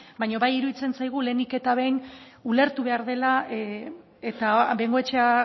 baina bai iruditzen zaigu lehenik eta behin ulertu behar dela eta bengoechea